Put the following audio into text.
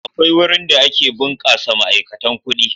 Akwai wurin da ake ɓunkasa ma'aikatan kuɗi.